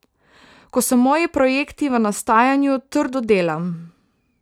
Ko so moji projekti v nastajanju, trdo delam.